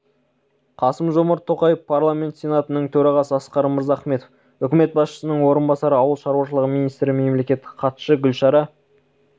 қасым-жомарт тоқаев парламент сенатының төрағасы асқар мырзахметов үкімет басшысының орынбасары ауыл шаруашылығы министрі мемлекеттік хатшы гүлшара